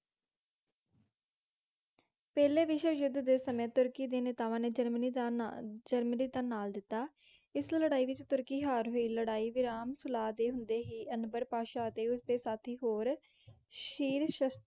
ਪਹਿਲਾਂ ਵਿਸ਼ਵਸ਼ੁੱਧ ਦੇ ਸਮੇਂ ਤੁਰਕੀ ਦੇ ਨੇਤਾਵਾਂ ਨੇ ਜਰਮਨੀ ਦਾ ਨਾ~ ਜਰਮਨੀ ਦਾ ਨਾਲ ਦਿੱਤਾ। ਇਸ ਲੜਾਈ ਵਿੱਚ ਤੁਰਕੀ ਹਾਰ ਹੋਏ। ਲੜਾਈ - ਵਿਰਾਮ - ਸੁਲਾਹ ਦੇ ਹੁੰਦੇ ਹੀ ਅਨਬਰ ਪਾਸ਼ਾ ਅਤੇ ਉਸਦੇ ਸਾਥੀ ਹੋਰ ਸ਼ੀਰਸ਼ਸ~